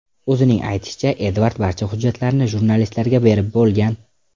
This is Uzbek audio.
O‘zining aytishicha, Edvard barcha hujjatlarini jurnalistlarga berib bo‘lgan.